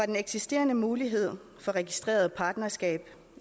den eksisterende mulighed for registreret partnerskab